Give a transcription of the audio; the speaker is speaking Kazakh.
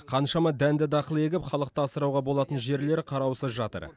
қаншама дәнді дақыл егіп халықты асырауға болатын жерлер қараусыз жатыр